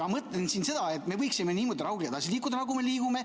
Ma mõtlen siin seda, et me võiksime niimoodi rahulikult edasi liikuda, nagu me liigume.